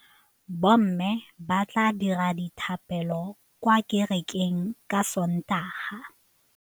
Bommê ba tla dira dithapêlô kwa kerekeng ka Sontaga.